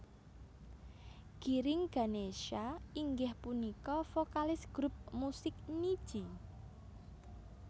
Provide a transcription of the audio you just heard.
Giring Ganesha inggih punika vokalis grup musik Nidji